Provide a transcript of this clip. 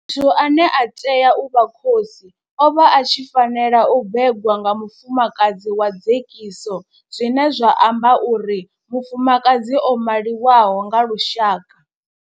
Muthu ane a tea u vha khosi o vha a tshi fanela u bebwa nga mufumakadzi wa dzekiso zwine zwa amba uri mufumakadzi o maliwaho nga lushaka.